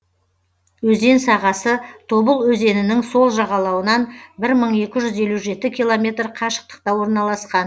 өзен сағасы тобыл өзенінің сол жағалауынан бір мың екі жүз елу жеті километр қашықтықта орналасқан